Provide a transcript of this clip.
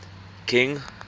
king